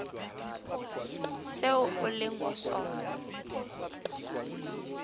seo o leng ho sona